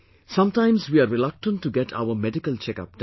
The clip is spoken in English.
Sometimes we are reluctant to get our medical checkup done